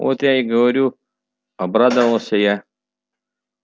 вот я и говорю обрадовался я